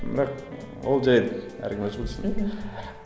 бірақ ы ол жарайды әркім өзі білсін мхм